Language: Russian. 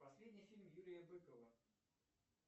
последний фильм юрия быкова